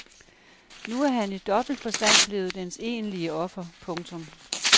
Nu er han i dobbelt forstand blevet dens egentlige offer. punktum